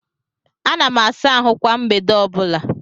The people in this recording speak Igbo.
Ana m asa ahụ kwa mgbede ọbụla